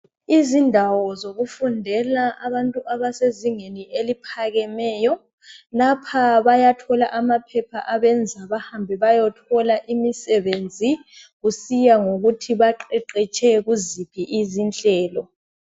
Izindawo zokufundela abantu abasezingeni eliphakemeyo lapha bayathola amaphepha abenza bahambe bayethola imisebenzi kusiya ngokuthi baqeqetshe kuziphi izinhlelo.